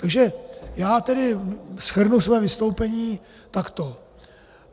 Takže já tedy shrnu své vystoupení takto.